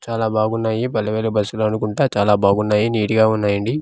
చాలా బాగున్నాయి పలే వెలుగు బస్సులు అనుకుంటా చాలా బాగున్నాయి నిట్ గా ఉన్నాయండి.